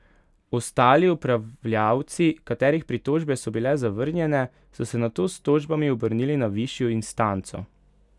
Ostali upravljavci, katerih pritožbe so bile zavrnjene, so se nato s tožbami obrnili na višjo instanco.